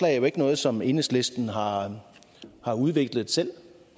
er jo ikke noget som enhedslisten har har udviklet selv